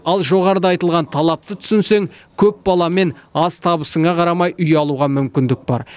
ал жоғарыда айтылған талапты түсінсең көп баламен аз табысыңа қарамай үй алуға мүмкіндік бар